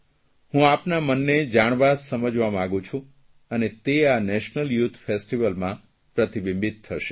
હું આપના મનને જાણવા સમજવા માંગું છું અને તે આ નેશનલ યુથ ફેસ્ટીવલમાં પ્રતિબિંબિત થશે